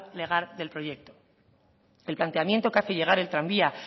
legal del proyecto el planteamiento que hace llegar el tranvía